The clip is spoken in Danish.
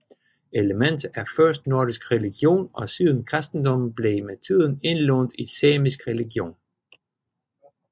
Elementer af først nordisk religion og siden kristendommen blev med tiden indlånt i samisk religion